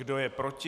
Kdo je proti?